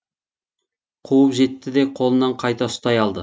қуып жетті де қолынан қайта ұстай алды